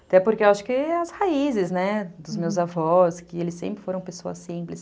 Até porque eu acho que as raízes, né, dos meus avós, que eles sempre foram pessoas simples.